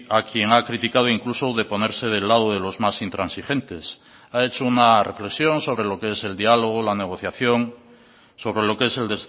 a quien ha criticado incluso de ponerse del lado de los más intransigentes ha hecho una reflexión sobre lo que es el dialogo la negociación sobre lo que es el